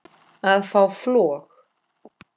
að fá flog